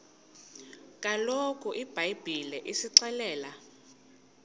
kaloku ibhayibhile isixelela